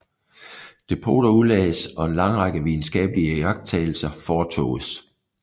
Depoter udlagdes og en lang række videnskabelige iagttagelser foretoges